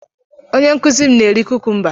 Onye nkuzi m na-eri kukumba.